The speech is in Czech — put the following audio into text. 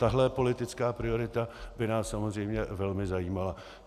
Tahle politická priorita by nás samozřejmě velmi zajímala.